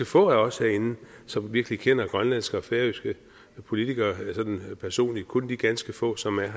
få af os herinde som virkelig kender grønlandske og færøske politikere sådan personligt kun de ganske få som er